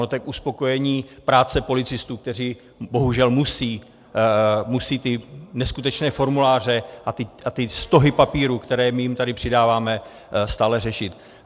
Ono to je k uspokojení práce policistů, kteří bohužel musí ty neskutečné formuláře a ty stohy papíru, které my jim tady přidáváme, stále řešit.